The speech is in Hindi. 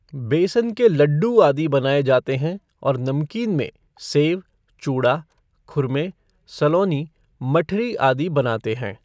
बेसन के लड्डू आदि बनाए जाते हैं और नमकीन में सेव, चूड़ा, खुरमे, सलोनी, मठरी आदि बन बनाते हैं।